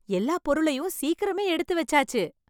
எல்லா பொருளையும் சீக்கிரமே எடுத்து வச்சாச்சு